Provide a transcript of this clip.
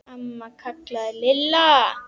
Amma kallaði Lilla.